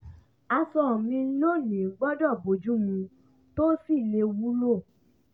aṣọ mi lónìí gbọ́dọ̀ bojú mu tó sì lè wúlò